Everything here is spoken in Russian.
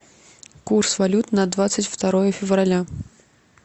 курс валют на двадцать второе февраля